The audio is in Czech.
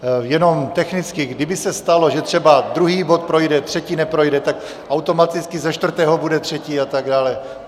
Jenom technicky: kdyby se stalo, že třeba druhý bod projde, třetí neprojde, tak automaticky ze čtvrtého bude třetí a tak dále.